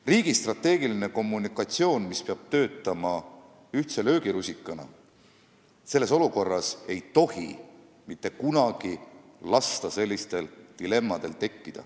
Riigi strateegilises kommunikatsioonis, mis peab töötama ühtse löögirusikana, ei tohiks mitte kunagi tekkida selliseid dilemmasid.